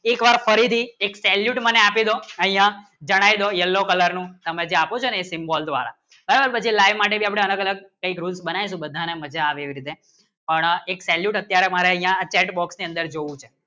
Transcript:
એક વાર ફરીદી એક salute અમને આપીદો અય્યા જણાય જો yellow color નું તમે જે આપું જે ના symbol દ્વારા બરાબર like માટે જે અલગ અલગ જે બનાય તો બધાના મજા આવે છે પણ એક salute અત્યારે મારે chatbox અંદર જોવું છે